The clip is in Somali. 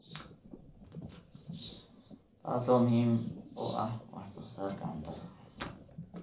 taasoo muhiim u ah wax soo saarka cuntada.